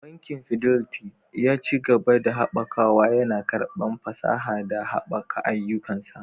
Bankin Fidelity, ya ci gaba da haɓakawa, yana karɓar fasaha da haɓaka ayyukansa